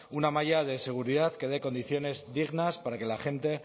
una malla de seguridad que dé condiciones dignas para que la gente